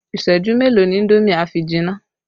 Isẹju mélòó ni indomi a fi jìnnà?